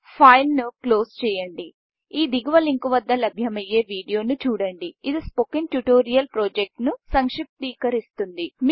ఫైల్ను క్లోజ్ చేయండి ఈ దిగువ లింకు వద్ద లభ్యమయ్యే వీడియోను చూడండిఇది స్పోకెన్ ట్యుటోరియల్ ప్రాజెక్ట్ను సంక్షిప్తీకరిస్తుంది